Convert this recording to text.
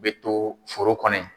Be to foro kɔnɔ yen.